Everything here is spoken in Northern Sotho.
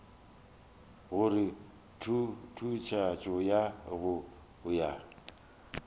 gore tutuetšo ya go ya